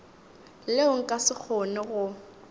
leo nka se kgone go